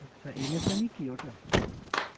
আচ্ছা MSME কি ওটা?